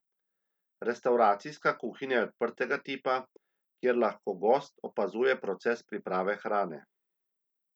Restavracijska kuhinja je odprtega tipa, kjer lahko gost opazuje proces priprave hrane.